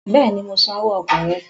Bẹ́ẹ̀ni, mo san owó ọkọ̀ rẹ